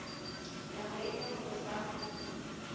nako e le nngwe fa